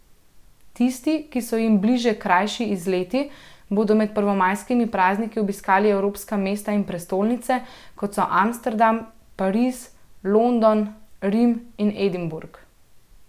Tisti, ki so jim bližje krajši izleti, bodo med prvomajskimi prazniki obiskali evropska mesta in prestolnice, kot so Amsterdam, Pariz, London, Rim in Edinburg.